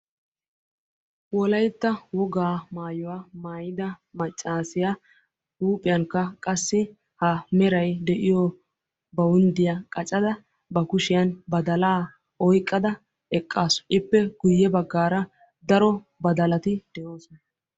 Wolaytta wogga maayuwaa maayidda maacasiyaa huuphphiyaankka qassi he meray de'iyo bawunddiyaa qacadda ba kushshiyani badalla oyqqda eqassu, ippe guye baggara daro badalatti de'ossona.